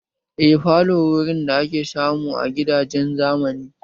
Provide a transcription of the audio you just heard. Eh falo wurin da ake samu a gidajen zamani